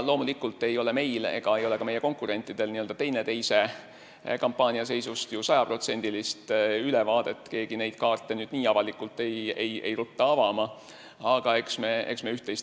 Loomulikult ei ole meil ega ka meie konkurentidel teineteise kampaania seisust sajaprotsendilist ülevaadet – keegi ei rutta neid kaarte nii avalikult avama –, aga eks me sellest üht-teist teame.